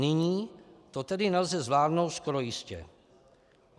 Nyní to tedy nelze zvládnout skoro jistě.